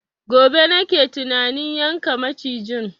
Gobe nake tunanin yanka macijin